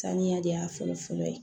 Saniya de y'a fɔlɔ-fɔlɔ ye